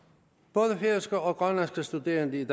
både færøske og grønlandske studerende i